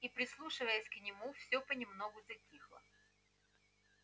и прислушиваясь к нему всё понемногу затихло